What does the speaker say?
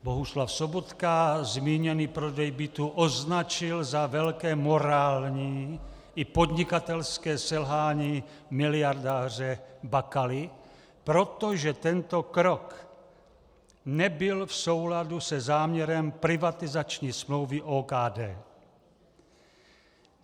Bohuslav Sobotka zmíněný prodej bytů označil za velké morální i podnikatelské selhání miliardáře Bakaly, protože tento krok nebyl v souladu se záměrem privatizační smlouvy OKD.